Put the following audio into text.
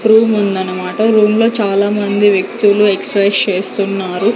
Room ఉందన్నమాట room లో చాలామంది వ్యక్తులు ఎక్సైజ్ చేస్తున్నారు.